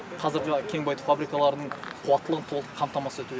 қазіргі кен байыту фабрикаларының қуаттылығын толық қамтамасыз ету